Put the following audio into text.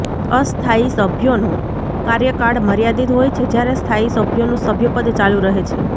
અસ્થાયી સભ્યોનો કાર્યકાળ મર્યાદિત હોય છે જ્યારે સ્થાયી સભ્યોનું સભ્યપદ ચાલુ રહે છે